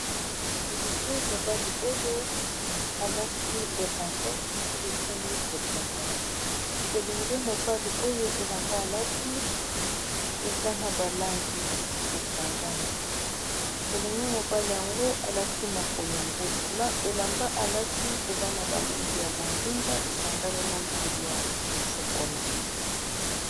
elenge mobali oyo alaki elamba esilisami kotongana elenge mobali oyo elamba alati eza na balangi esangami elenge mobali yango alati makolongolo elamba alati eza na balangi ya bondinga esangami na langi ya sokola